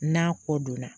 N'a ko donna